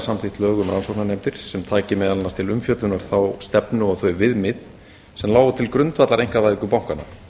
samþykkt lög um rannsóknarnefndir sem taki meðal annars til umfjöllunar þá stefnu og þau viðmið sem lágu til grundvallar einkavæðingu bankanna